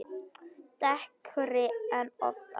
Dekkri en oft áður.